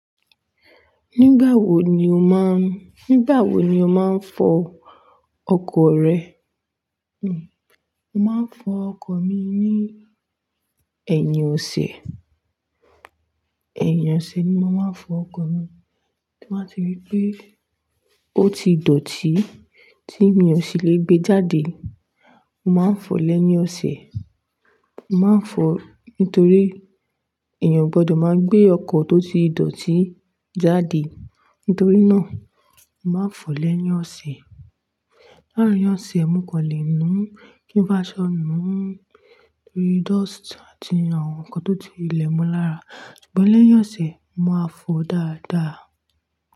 Nígbà wo ni o máa n-- nígbà wo ni o máa ń fọ ọkọ̀ rẹ? Hmm, mo máa ń fọ ọkọ̀ mi ní ẹ̀yìn ọ̀sẹ̀. Ẹ̀yìn ọ̀sẹ̀ ni mo máa ń fọ ọkọ̀ mi. Tí mo bá ti rí pé ó ti dọ̀tí tí mi ò sì lè gbé e jáde, mo máa ń fọ̀ọ́ lẹ́yìn ọ̀sẹ̀. Mo máa ń fọ nítorí èèyàn o gbọ́dọ̀ máa gbé ọkọ̀ tó ti dọ̀tí jáde. Nítorí náà, mo máa ń fọ̀ọ́ lẹ́yìn ọ̀sẹ̀. Larin ọ̀sẹ̀, ẹ̀ mú kan lè mú kí n bá sọ nù nítorí dust àti àwọn nǹkan tó ti ilẹ̀ mú lára. Ṣùgbọ́n lẹ́yìn ọ̀sẹ̀, mo máa ń fọ dáadáa.